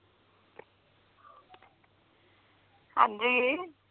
ਹਾਂਜੀ